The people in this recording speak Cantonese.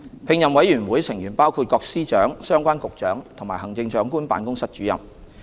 聘任委員會成員包括各司長、相關局長及行政長官辦公室主任。